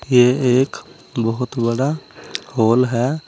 यह एक बोहोत बड़ा हॉल है।